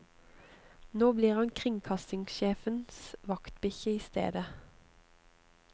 Nå blir han kringkastingssjefens vaktbikkje i stedet.